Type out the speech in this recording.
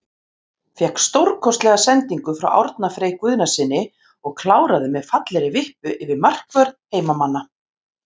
Fékk stórkostlega sendingu frá Árna Frey Guðnasyni og kláraði með fallegri vippu yfir markvörð heimamanna.